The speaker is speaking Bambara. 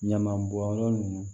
Ɲama bɔnyɔrɔ ninnu